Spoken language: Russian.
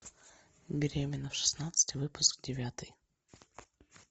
беременна в шестнадцать выпуск девятый